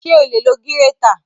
Ṣé o lè lo gírétà?